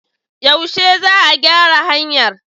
Yaushe za a gyara hanyar?